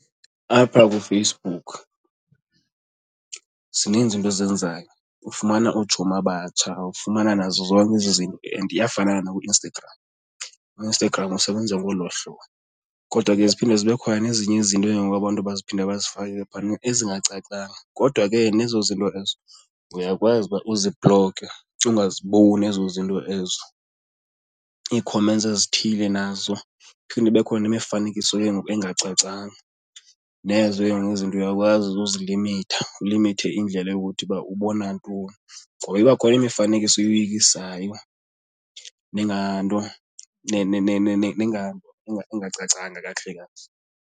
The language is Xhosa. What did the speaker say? Apha kuFacebook zininzi iinto ozenzayo, ufumana ootshomi abatsha ufumana nazo zonke izinto and iyafana nakuInstagram. UInstagram usebenza ngolo hlobo. Kodwa ke ziphinde zibe khona nezinye izinto ke ngoku abantu abaziphinda bazifake ke ngoku phana ezingacacanga, kodwa ke nezo zinto ezo uyakwazi uba uzibhlokhe ungaziboni ezo zinto ezo ii-comments ezithile nazo. Iphinde ibe khona imifanekiso ke ngoku engacacanga nezo ke ngoku izinto uyakwazi ukuzilimitha ulimithe indlela yokuthi uba ubona ntoni ngoba iba khona imifanekiso eyoyikisayo nenganto nengacacanga kakuhle kakuhle.